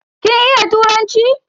Kin iya turanci?